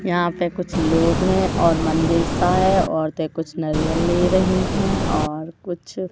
यहां पे कुछ लोग हैं और मंदिर सा है औरतें कुछ नारियल ले रही हैं और कुछ--